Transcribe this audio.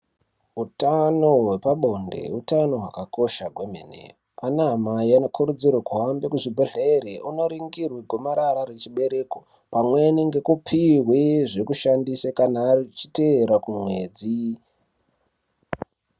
Hutano hwepabonde hutano hwakakosha kwemene. Vanaamai vanokuudzirwe kuhambe kuzvibhedhlere vonoringirwe gomarara rechibereko. Pamweni ngekupihwe zvikushandisa kana achiteera kumwedzi.